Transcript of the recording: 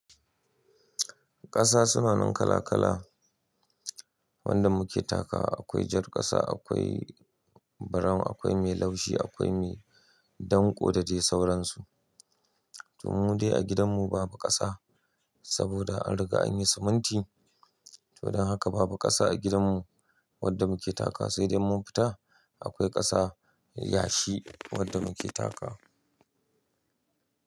Ƙasa suna nan kala-kala, wanda muke takawa. Akwai jar ƙasa, akwai brown, akwai mai laushi, akwai mai danƙo da dai sauransu. To mu dai a gidanmu babu ƙasa, saboda an riga an yi siminti. Toh, don haka babu ƙasa a gidanmu wadda muke takawa sai dai mun fita akwai ƙasa yashi wadda muke taka.